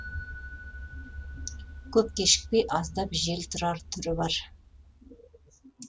көп кешікпей аздап жел тұрар түрі бар